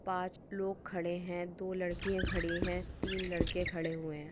पाच लोग खड़े है दो लडकीया खड़ी है तीन लड़के खड़े हुए है।